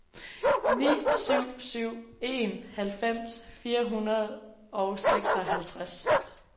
ni syv syv en halvfems fire hundrede og seksoghalvtreds